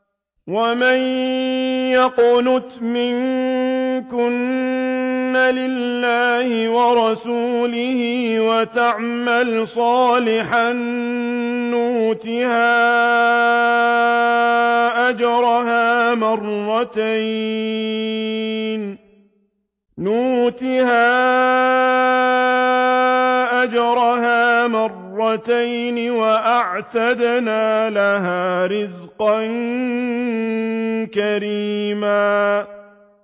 ۞ وَمَن يَقْنُتْ مِنكُنَّ لِلَّهِ وَرَسُولِهِ وَتَعْمَلْ صَالِحًا نُّؤْتِهَا أَجْرَهَا مَرَّتَيْنِ وَأَعْتَدْنَا لَهَا رِزْقًا كَرِيمًا